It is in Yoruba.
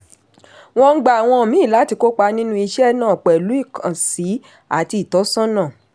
wọ́n ń gba àwọn míì láti kópa nínú iṣẹ́ náà pẹ̀lú ìkànsí àti ìtọ́sọ́nà.